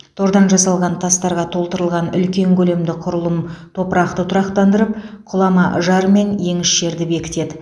тордан жасалған тастарға толтырылған үлкен көлемді құрылым топырақты тұрақтандырып құлама жар мен еңіс жерді бекітеді